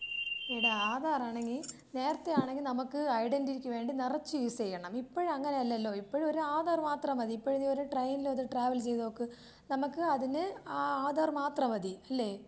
എടി ആധാർ ആണെങ്കി നേരത്തെ ആണെങ്കി നമുക്ക് ഐഡന്റിറ്റിക്ക് വേണ്ടി നിറച്ച് യൂസ് ചെയ്യണം. ഇപ്പഴ് അങ്ങനെയല്ലല്ലോ. ഇപഴ് ഒരു ആധാർ മാത്രം മതി. ഇപ്പഴ് നീ ഒരു ട്രെയിനിൽ അത് ട്രാവൽ ചെയ്തോക്ക്. നമുക്ക് അതിന് ആ ആധാർ മാത്രം മതി അല്ലേ?